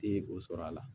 Ti o sɔrɔ la